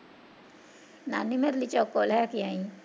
ਨਾਨੀ ਮੇਰੇ ਲਈ ਚੋਕੋ ਲੈ ਕੇ ਆਈ